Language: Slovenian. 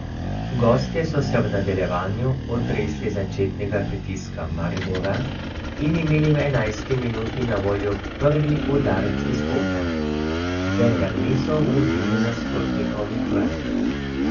Gostje so se v nadaljevanju otresli začetnega pritiska Maribora in imeli v enajsti minuti na voljo prvi udarec iz kota, vendar niso ogrozili nasprotnikovih vrat.